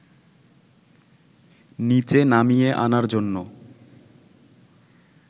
নিচে নামিয়ে আনার জন্য